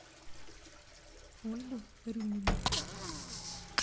ольгу рюмину